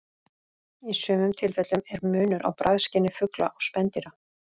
Í sumum tilfellum er munur á bragðskyni fugla og spendýra.